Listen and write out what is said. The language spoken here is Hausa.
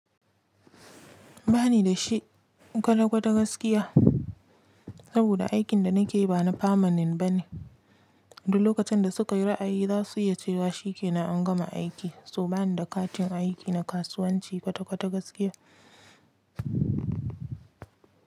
Ba ni da shi kwata kwata gaskiya. Saboda aikin da na ke yi ba na famanen ba ne. Duk lokacin da suka yi ra’ayi za su iya cewa shi ke nan an gama aiki. So ba ni da katin aiki na kasuwanci kwata kwata gaskiya.